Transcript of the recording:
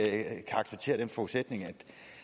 acceptere den forudsætning at